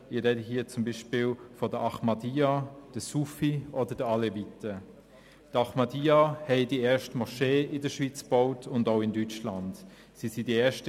Ich spreche hier zum Beispiel von den Ahmadiyya, den Sufi oder den Aleviten.